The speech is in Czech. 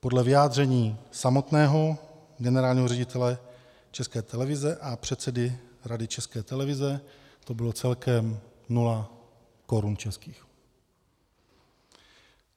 Podle vyjádření samotného generálního ředitele České televize a předsedy Rady České televize to bylo celkem nula korun českých.